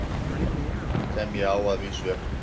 Sem ég á að vísu ekki til.